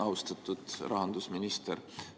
Austatud rahandusminister!